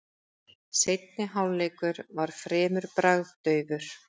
Seinni hálfleikur var fremur bragðdaufur.